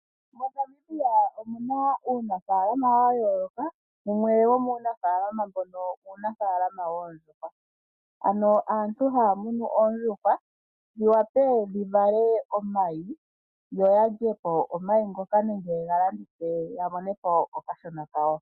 MoNamibia omuna uunafaalama wayooloka, wumwe womuunafaalama mbono uunafaalama woondjuhwa . Aantu ohaya munu oondjuhwa dhiwape okuvala omayi yoya lye po omayi ngoka nenge ye galandithe yamone po okashona kawo.